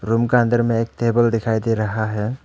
Room का अंदर में एक टेबल दिखाई दे रहा है।